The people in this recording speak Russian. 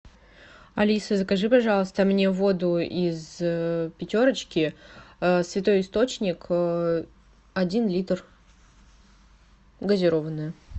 алиса закажи пожалуйста мне воду из пятерочки святой источник один литр газированная